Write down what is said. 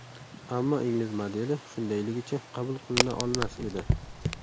Ammo ingliz modeli shundayligicha qabul qilina olmas edi.